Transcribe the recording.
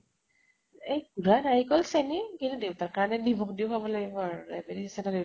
এই সুধা নাৰিকল চেনি । কিন্তু দেউতাৰ কাৰণে নিমখ দি খোৱাব লাগিব diabetes আছে ন দেউতাৰ